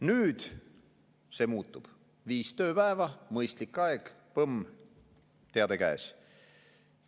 Nüüd see muutub, viis tööpäeva, mõistlik aeg – põmm, teade käes!